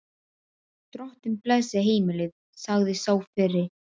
Drottinn blessi heimilið, sagði sá fyrri.